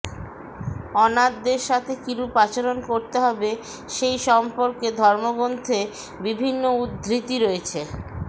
অনাথদের সাথে কিরূপ আচরণ করতে হবে সেই সম্পর্কে ধর্মগ্রন্থে বিভিন্ন উদ্ধৃতি রয়েছেঃ